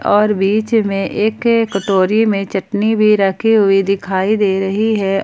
और बीच में एक कटोरी में चटनी भी रखी हुई दिखाई दे रही है।